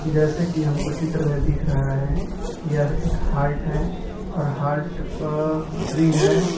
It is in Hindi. जैसे कि हमको चित्र में दिख रहा है कि यह एक हाल्ट है और हाल्ट पअ पटरी है।